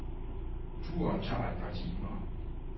Turen tager et par timer.